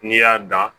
N'i y'a dan